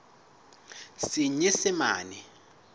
senyesemane